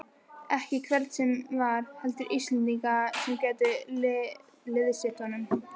Ekki hvern sem var, heldur Íslendinga sem gætu liðsinnt honum.